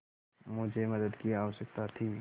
मुझे मदद की आवश्यकता थी